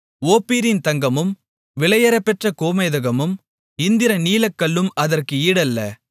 ஓப்பீரின் தங்கமும் விலையேறப்பெற்ற கோமேதகமும் இந்திரநீலக்கல்லும் அதற்கு ஈடல்ல